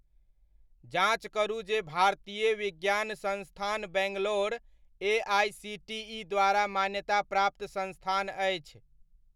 जाँच करू जे भारतीय विज्ञान संस्थान बैंगलोर एआइसीटीइ द्वारा मान्यता प्राप्त संस्थान अछि ?